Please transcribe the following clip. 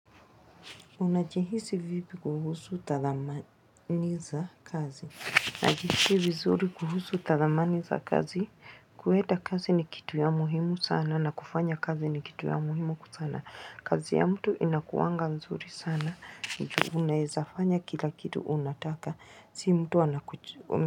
Unajihisi vipi kuhusu tathamani za kazi, najihisi vizuri kuhusu tathamani za kazi kuenda kazi ni kitu ya muhimu sana na kufanya kazi ni kitu ya muhimu sana, kazi ya mtu inakuwanga mzuri sana juu unaeza fanya kila kitu unataka sii mtu anakuchu.